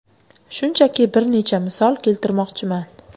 Shunchaki bir necha misol keltirmoqchiman.